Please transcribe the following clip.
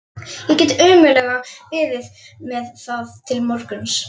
Ég get ómögulega beðið með það til morguns.